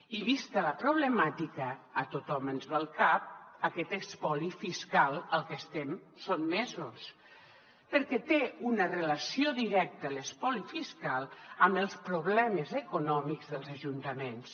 i vista la problemàtica a tothom ens ve al cap aquest espoli fiscal al que estem sotmesos perquè té una relació directa l’espoli fiscal amb els problemes econòmics dels ajuntaments